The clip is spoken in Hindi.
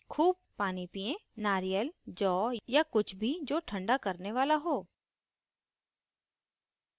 खूब पानी पियेंनारियल जौ या कुछ भी जो ठंडा करने वाला हो